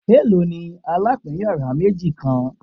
Elo ni alapin yara meji kan